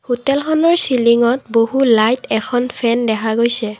হোটেলখনৰ চিলিংত বহু লাইট এখন ফেন দেখা গৈছে।